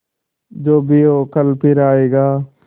जो भी हो कल फिर आएगा